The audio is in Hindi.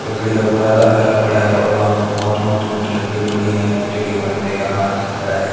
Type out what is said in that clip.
लकड़ी का बुरादा फैला पड़ा है और वहां प बहोत मोटी मोटी लकड़ी पड़ी है और एक बंदे का हाथ दिख रहा है।